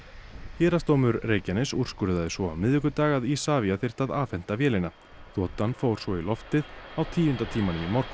héraðsdómur Reykjaness úrskurðaði svo á miðvikudag að Isavia þyrfti að afhenda vélina þotan fór svo í loftið á tíunda tímanum í morgun